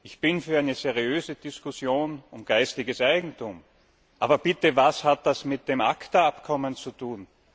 Ich bin für eine seriöse Diskussion über geistiges Eigentum. Aber, bitte, was hat das mit dem ACTA Abkommen zu tun?